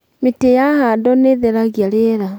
mĩtĩ ya handwo nĩtherangia rĩera